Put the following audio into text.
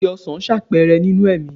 Kí ni igi ọsan ṣàpẹẹrẹ nínú ẹ̀mí?